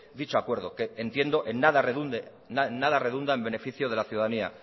dicho acuerdo que entiendo en nada redunda en beneficio de la ciudadanía